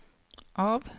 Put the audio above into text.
av